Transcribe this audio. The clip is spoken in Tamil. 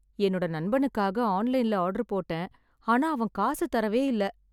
என்னோட நண்பனுக்காக ஆன்லைன்ல ஆர்டர் போட்டேன் ஆனா அவன் காசு தரவே இல்ல